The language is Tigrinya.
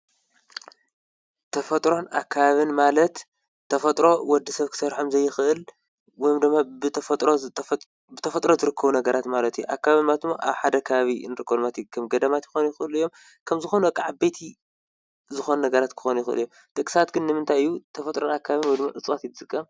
ተፈጥሮን ኣካብን ማለት ተፈጥሮ ወዲ ሰፍ ክሠር ሓምዘይኽእል ወይም ዶማ ብተፈጥሮ ዝርክቡ ነገራት ማለት እየ ።ኣካብን ማትሞ ኣ ሓደካቢ እንርኮልማቲ ከም ገዳማት ክኾኑ ይዂሉ ዮም። ከምዝኾኑ ኣቓዓ ቤቲ ዝኾኑ ነገራት ክኾኑ ይኽል እዮም ደግሳትግን ንምንታይዩ ተፈጥሮን ኣካብን ወይ ድሚ እጽዋት ይዝቀ?